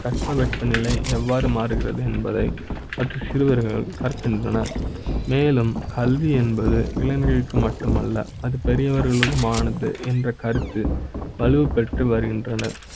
எடுத்துக்காட்டா தட்பவெட்ப நிலை எவ்வாறு மாறுகிறது என்பதை பற்றி சிறு வர்கள் கருதுகின்றனர். மேலும் கல்வி என்பது இளைஞர்களுக்கு மட்டுமல்ல அது பெரிய வர்களுக்கு மானது என்ற கருத்து வலுப்பெற்று வருகின்றன